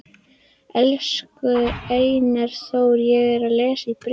Elsku Einar Þór, ég er að lesa bréfin.